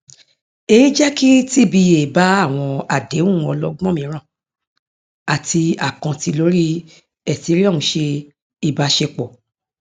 èyí jẹ kí tba bá àwọn àdéhùn ọlọgbọn mìíràn àti àkáǹtì lórí ethereum ṣe ìbáṣepọ